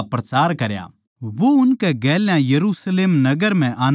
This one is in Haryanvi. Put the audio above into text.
वो उनकै गेल्या यरुशलेम नगर म्ह आन्दाजान्दा रहया